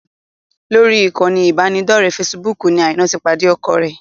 Lórí ìkànnì ìbánidọ́ọ̀rẹ́ fesibúùkù ni Aina ti pàdé ọkọ wọn